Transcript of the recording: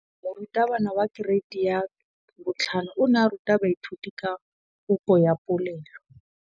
Moratabana wa kereiti ya 5 o ne a ruta baithuti ka popô ya polelô.